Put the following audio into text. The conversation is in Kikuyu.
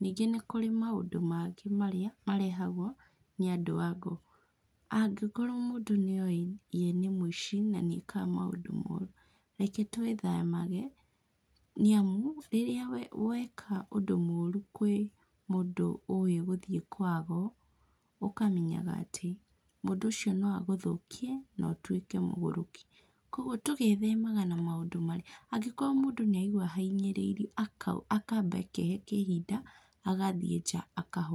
Nĩngĩ nĩ kũrĩ maũndũ mangĩ marĩa marehagwo nĩ andũ ago. Angĩkorwo mũndũ nĩowĩ we nĩ mũici na nĩekaga maũndũ moru, reke twĩthemage, nĩamu rĩrĩa weka ũndũ mũru kwĩ mũndũ ũĩ gũthiĩ kwago, ũkamenyaga atĩ mũndũ ũcio no agũthũkie na ũtuĩke mũgũrũki. Koguo tũgethemaga na maũndũ marĩa, angĩkorwo mũndũ nĩ araigua ahinyĩrĩirwo akauga, akamba akehe ihinda agathiĩ nja akahorera.